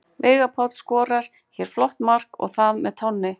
Veigar Páll skorar hér flott mark og það með tánni!